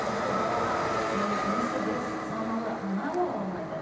тіпті балаға ііі есі дұрыс саналы ана бола алмайды